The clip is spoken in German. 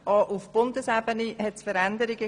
Auch auf Bundesebene gab es Veränderungen.